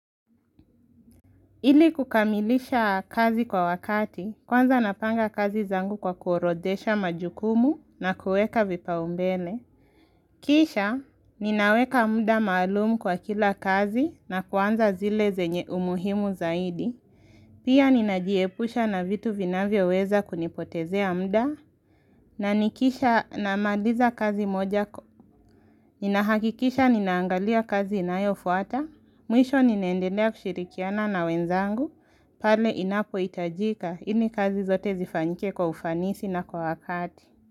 Ili kukamilisha kazi kwa wakati, kwanza napanga kazi zangu kwa kuorodesha majukumu na kueka vipa umbele. Kisha, ninaweka mda malumu kwa kila kazi na kwanza zile zenye umuhimu zaidi. Pia ninajiepusha na vitu vinavyoweza kunipotezea mda. Na nikisha na maliza kazi moja ko. Ninahakikisha ninaangalia kazi inayo fuata. Mwisho ninendelea kushirikiana na wenzangu, pale inapohitajika, ili kazi zote zifanyike kwa ufanisi na kwa wakati.